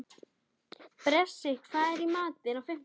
Bresi, hvað er í matinn á fimmtudaginn?